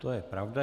To je pravda.